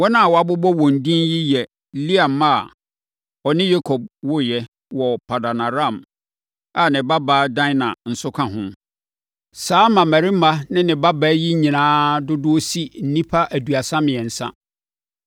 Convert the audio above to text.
Wɔn a wɔabobɔ wɔn din yi yɛ Lea mma a ɔne Yakob woeɛ wɔ Paddan-Aram a ne babaa Dina nso ka ho. Saa mmammarima ne ne babaa yi nyinaa dodoɔ si nnipa aduasa mmiɛnsa.